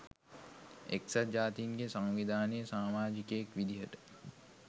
එක්සත් ජාතීන්ගේ සංවිධානයේ සාමාජිකයෙක් විදිහට